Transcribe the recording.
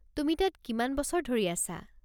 তুমি তাত কিমান বছৰ ধৰি আছা?